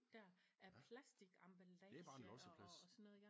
Smidt der af plastik emballage og og så noget